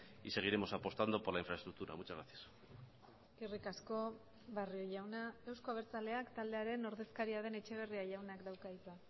y seguiremos apostando por la infraestructura muchas gracias eskerrik asko barrio jauna euzko abertzaleak taldearen ordezkaria den etxeberria jaunak dauka hitza